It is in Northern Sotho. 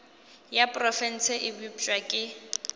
ya profense e bopša ke